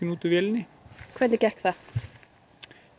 út úr vélinni hvernig gekk það